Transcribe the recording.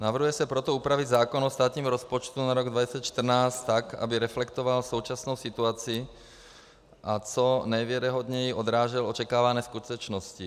Navrhuje se proto upravit zákon o státním rozpočtu na rok 2014 tak, aby reflektoval současnou situaci a co nejvěrohodněji odrážel očekávané skutečnosti.